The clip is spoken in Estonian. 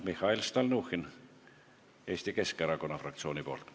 Mihhail Stalnuhhin Eesti Keskerakonna fraktsiooni nimel.